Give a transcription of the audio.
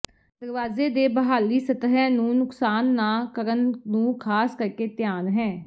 ਦਰਵਾਜ਼ੇ ਦੇ ਬਹਾਲੀ ਸਤਹ ਨੂੰ ਨੁਕਸਾਨ ਨਾ ਕਰਨ ਨੂੰ ਖ਼ਾਸ ਕਰਕੇ ਧਿਆਨ ਹੈ